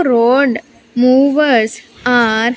Road movers are --